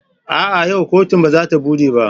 A'a! yau kotun ba za ta bude ba.